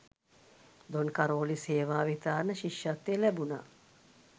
දොන් කරෝලිස් හේවාවිතාරණ ශිෂ්‍යත්වය ලැබුණ.